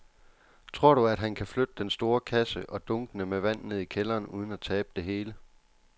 Tror du, at han kan flytte den store kasse og dunkene med vand ned i kælderen uden at tabe det hele?